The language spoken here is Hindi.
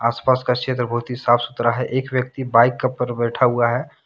आसपास का क्षेत्र बहुत ही साफ सुथरा है एक व्यक्ति बाइक का पर बैठा हुआ है।